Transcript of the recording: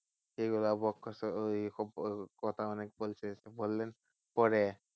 সেই গুলো কথা অনেক বলছে, বললেন পরে